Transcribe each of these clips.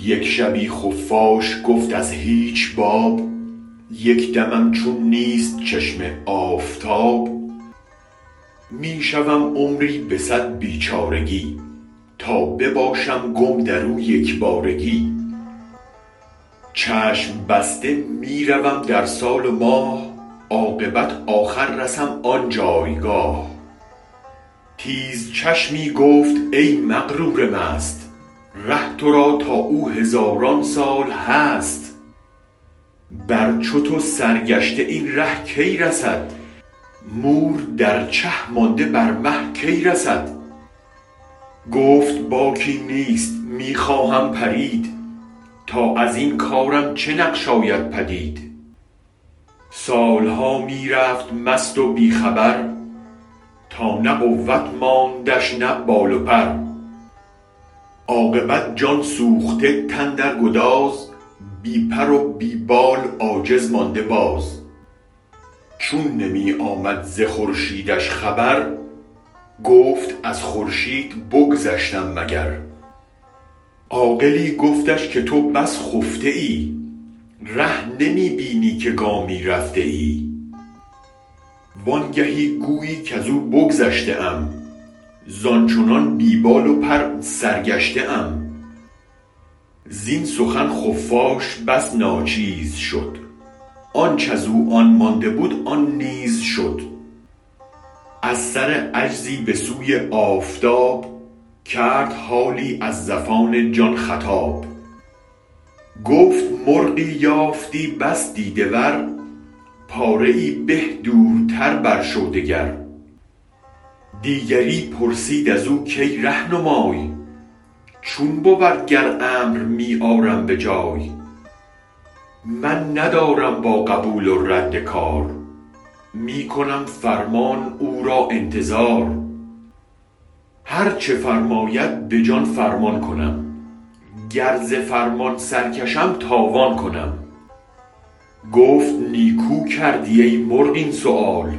یک شبی خفاش گفت از هیچ باب یک دمم چون نیست چشم آفتاب می شوم عمری به صد بیچارگی تا بباشم گم درو یک بارگی چشم بسته می روم در سال و ماه عاقبت آخر رسم آن جایگاه تیز چشمی گفت ای مغرور مست ره ترا تا او هزاران سال هست بر چو تو سرگشته این ره کی رسد مور در چه مانده بر مه کی رسد گفت باکی نیست می خواهم پرید تا ازین کارم چه نقش آید پدید سالها می رفت مست و بی خبر تا نه قوت ماندش نه بال و پر عاقبت جان سوخته تن در گداز بی پرو بی بال عاجز مانده باز چون نمی آمد ز خورشیدش خبر گفت از خورشید بگذشتم مگر عاقلی گفتش که تو بس خفته ای ره نمی بینی که گامی رفته ای وانگهی گویی کزو بگذشته ام زان چنان بی بال و پر سرگشته ام زین سخن خفاش بس ناچیز شد آنچ ازو آن مانده بود آن نیز شد از سر عجزی بسوی آفتاب کرد حالی از زفان جان خطاب گفت مرغی یافتی بس دیده ور پاره ای به دورتر بر شو دگر دیگری پرسید ازو کای رهنمای چون بود گر امر می آرم بجای من ندارم با قبول و رد کار می کنم فرمان او را انتظار هرچ فرماید به جان فرمان کنم گر ز فرمان سرکشم تاوان کنم گفت نیکو کردی ای مرغ این سؤال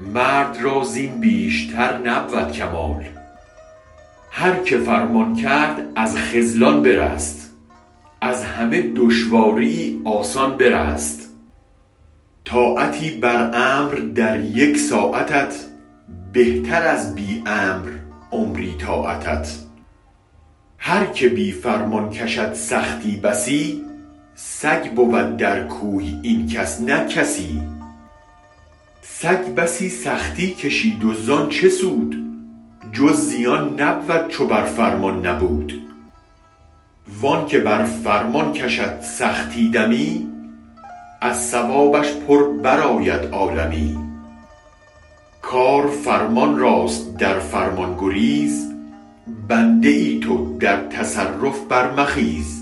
مرد را زین بیشتر نبود کمال هرک فرمان کرد از خذلان برست از همه دشواریی آسان برست طاعتی بر امر در یک ساعتت بهتر از بی امر عمری طاعتت هرک بی فرمان کشد سختی بسی سگ بود در کوی این کس نه کسی سگ بسی سختی کشید و زان چه سود جز زیان نبود چو بر فرمان نبود وانک بر فرمان کشد سختی دمی از ثوابش پر برآید عالمی کار فرمان راست در فرمان گریز بنده تو در تصرف برمخیز